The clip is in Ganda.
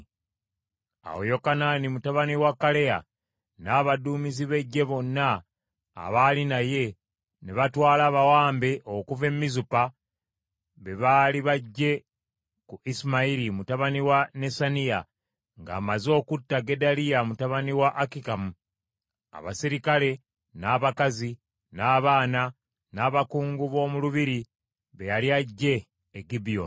Awo Yokanaani mutabani wa Kaleya n’abaduumizi b’eggye bonna abaali naye ne batwala abawambe okuva e Mizupa be baali baggye ku Isimayiri mutabani wa Nesaniya ng’amaze okutta Gedaliya mutabani wa Akikamu: abaserikale, n’abakazi, n’abaana n’abakungu b’omu lubiri be yali aggye e Gibyoni.